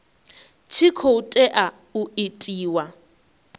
tshi khou tea u itiwa